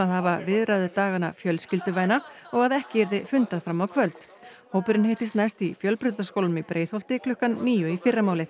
hafa fjölskylduvæna og að ekki yrði fundað fram á kvöld hópurinn hittist næst í Fjölbrautaskólanum í Breiðholti klukkan níu í fyrramálið